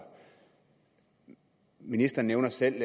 ministeren nævner selv